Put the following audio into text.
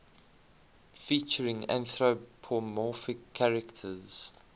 featuring anthropomorphic characters